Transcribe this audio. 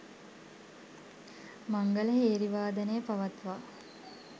මංගල හේරි වාදනය පවත්වා